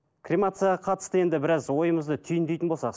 кремацияға қатысты енді біраз ойымызды түйіндейтін болсақ